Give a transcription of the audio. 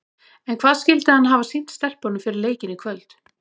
En hvað skyldi hann hafa sýnt stelpunum fyrir leikinn í kvöld?